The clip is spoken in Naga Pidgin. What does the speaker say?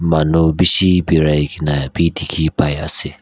manu bishi berai ke na bhi dikhi pai ase.